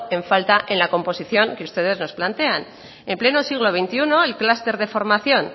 en falta en la composición que ustedes nos plantean en pleno siglo veintiuno el clúster de formación